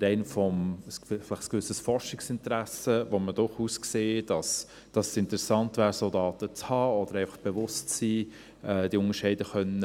Allein aus einem gewissen Forschungsinteresse sehen wir, dass es interessant wäre, solche Daten zu haben oder sich der Unterscheidung